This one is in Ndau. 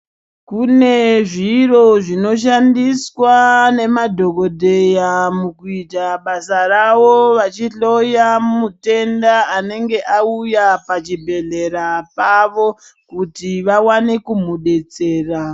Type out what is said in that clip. Kune zviro zvinoshandiswa nemadhokodheya mukuita basa ravo vachihloya mutenda anenge auya pachibhehlera pavo kuti vawane kumudetsera.